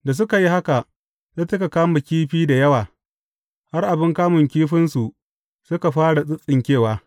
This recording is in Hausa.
Da suka yi haka, sai suka kama kifi da yawa, har abin kamun kifinsu suka fara tsintsinkewa.